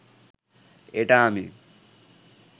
এটা আমি